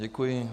Děkuji.